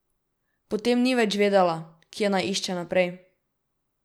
Potem ni več vedela, kje naj išče naprej.